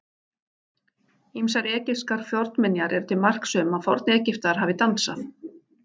Ýmsar egypskar fornminjar eru til marks um að Forn-Egyptar hafi dansað.